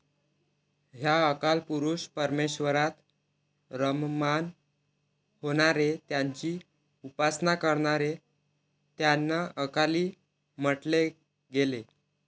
ह्या अकालपुरुष परमेश्वरात रममाण होणारे, त्यांची उपासना करणारे त्यांना 'अकाली' म्हंटले गेले.